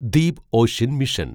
Deep ocean mission